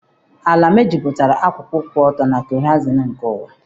Ala mejupụtara akụkụ kwụ ọtọ na kehoraizin nke ụwa